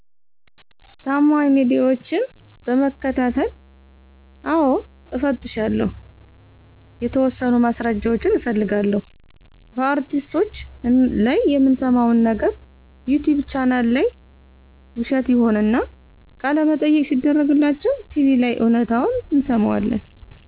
ታማኝ ሚዲያዎች በመከታተል። አዎ እፈትሻለሁ። የተወሠኑ ማስረጃዎች እፈልጋለሁ። በአርቲስቶች ላይ የምንሠማው ነገር ዩቲቭ ቻናል ላይ ውሸት ይሆንና፤ ቃለመጠየቅ ሲደረግላቸው ቲቪ ላይ እውነታውን እንሠማዋለን።